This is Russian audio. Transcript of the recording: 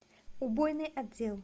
убойный отдел